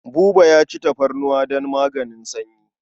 Buba ya ci tafarnuwa don maganin sanyi.